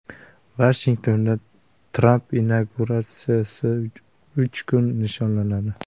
Vashingtonda Tramp inauguratsiyasi uch kun nishonlanadi.